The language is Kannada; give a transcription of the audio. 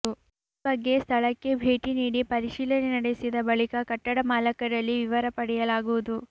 ಈ ಬಗ್ಗೆ ಸ್ಥಳಕ್ಕೆ ಭೇಟಿ ನೀಡಿ ಪರಿಶೀಲನೆ ನಡೆಸಿದ ಬಳಿಕ ಕಟ್ಟಡ ಮಾಲಕರಲ್ಲಿ ವಿವರ ಪಡೆಯಲಾಗುವುದು